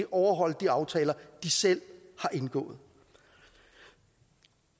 overholde de aftaler de selv har indgået